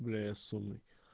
бля я сонный